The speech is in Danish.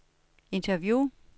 interview